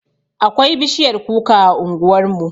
Akwai bishiyar kuka a unguwarmu